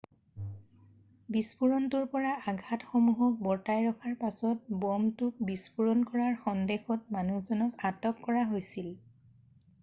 বিস্ফোৰণটোৰ পৰা আঘাটসমূহক বৰ্তাই ৰখাৰ পাছত ব'মটোক বিস্ফোৰণ কৰাৰ সন্দেহত মানুহজনক আটক কৰা হৈছিল৷